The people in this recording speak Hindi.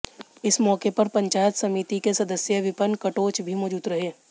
इस मौके पर पंचायत समति के सदस्य विपन कटोच भी मौजूद रहे